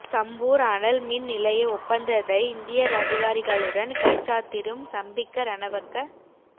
சம்பூர் அனல் மின் நிலைய ஒப்பந்ததை இந்திய அதிகாரிகளுடன் கைச்சாத்திடும் சம்பிக்க ரணவக்க